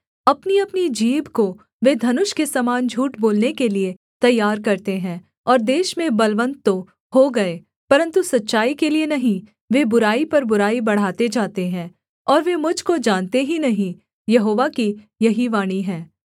अपनीअपनी जीभ को वे धनुष के समान झूठ बोलने के लिये तैयार करते हैं और देश में बलवन्त तो हो गए परन्तु सच्चाई के लिये नहीं वे बुराई पर बुराई बढ़ाते जाते हैं और वे मुझ को जानते ही नहीं यहोवा की यही वाणी है